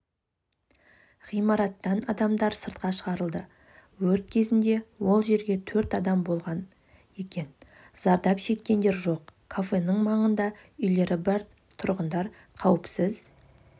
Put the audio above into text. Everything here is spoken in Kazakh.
ғимараттан адамдар сыртқа шығарылды өрт кезінде ол жерде төрт адам болған екен зардап шеккендер жоқ кафенің маңында үйлері бар тұрғындар қауіпсіз